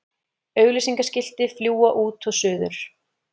Auglýsingaskilti fljúga út og suður